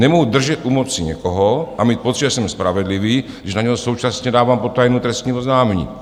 Nemohu držet u moci někoho a mít pocit, že jsem spravedlivý, když na něj současně dávám potajmu trestní oznámení.